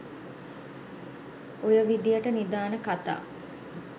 ඔය විදියට නිධාන කතා